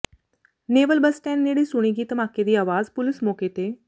naval bus stand ਨੇੜੇ ਸੁਣੀ ਗਈ ਧਮਾਕੇ ਦੀ ਆਵਾਜ਼ ਪੁਲਿਸ ਮੌਕੇ ਤੇ